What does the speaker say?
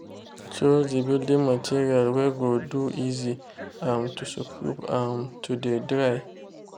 choose de building materials wey go de easy um to scrub and to de dry.